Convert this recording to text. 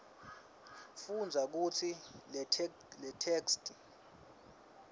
fundza futsi letheksthi